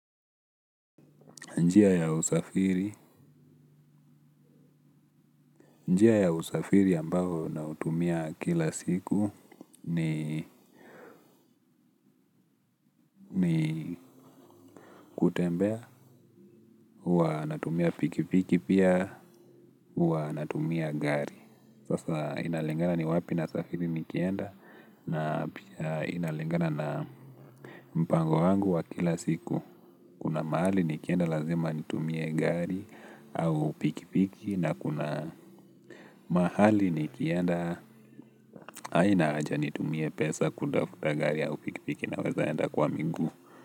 Njia ya usafiri, njia ya usafiri ambayo na utumia kila siku ni kutembea, huwa natumia pikipiki pia huwa natumia gari sasa inalingana ni wapi na safiri nikienda na pia inalingana na mpango wangu wa kila siku. Kuna mahali nikienda lazima nitumie gari au pikipiki na kuna mahali nikienda haina haja nitumie pesa kufuta gari au pikipiki naweza enda kwa miguu.